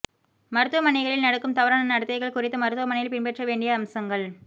மருத்துவனைகளில் நடக்கும் தவறான நடத்தைகள் குறித்தும் மருத்துவமனையில் பின்பற்ற வேண்டிய அம்சங்கள்